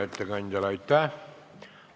Aitäh!